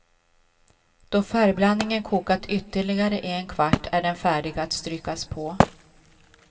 Då färgblandningen kokat ytterligare en kvart är den färdig att strykas på.